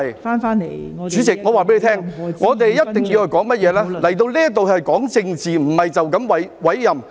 代理主席，我告訴你，我們一定要說的是甚麼，來到這裏要講政治，而不是單單委任。